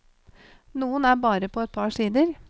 Noen er bare på et par sider.